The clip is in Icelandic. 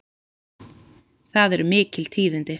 Það eru mikil tíðindi!